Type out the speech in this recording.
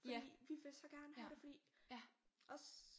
Fordi vi vil så gerne have det fordi os